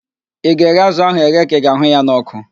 Ị ga-eghe azụ ahụ eghe ka ị ga-ahụ ya n'ọkụ?